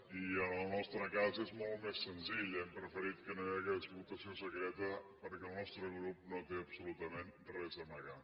i en el nostre cas és molt més senzill hem preferit que no hi hagués votació secreta perquè el nostre grup no té absolutament res a amagar